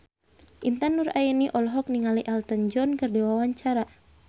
Intan Nuraini olohok ningali Elton John keur diwawancara